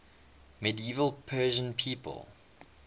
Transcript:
medieval persian people